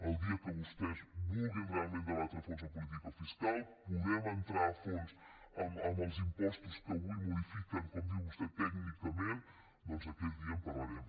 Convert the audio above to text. el dia que vostès vulguin realment debatre a fons la política fiscal que puguem entrar a fons en els impostos que avui modifiquen com diu vostè tècnicament doncs aquell dia en parlarem